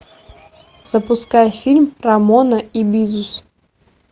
запускай фильм рамона и бизус